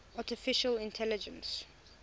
artificial intelligence